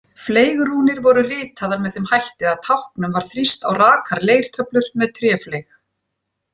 Fleygrúnir voru ritaðar með þeim hætti að táknum var þrýst á rakar leirtöflur með tréfleyg.